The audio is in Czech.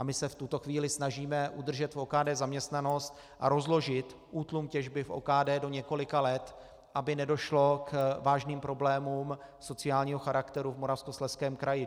A my se v tuto chvíli snažíme udržet v OKD zaměstnanost a rozložit útlum těžby v OKD do několika let, aby nedošlo k vážným problémům sociálního charakteru v Moravskoslezském kraji.